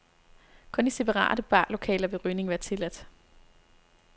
Kun i separate barlokaler vil rygning være tilladt.